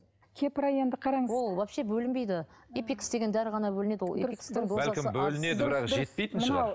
кепра енді қараңыз ол вообще бөлінбейді эпикс деген дәрі ғана бөлінеді ол эпикстың бәлкім бөлінеді бірақ жетпейтін шығар